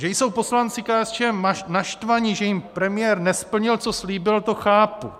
Že jsou poslanci KSČM naštvaní, že jim premiér nesplnil, co slíbil, to chápu.